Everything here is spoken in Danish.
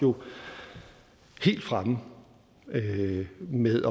helt fremme med